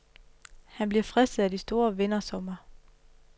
Han bliver fristet af de store vindersummer.